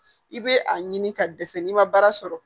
I bɛ a ɲini ka dɛsɛ n'i ma baara sɔrɔ